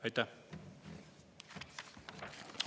Aitäh!